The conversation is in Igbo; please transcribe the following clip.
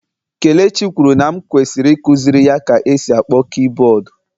Kelechi kwuru na m kwesịrị ikuziri ya ka e si akpọ kiiboodu.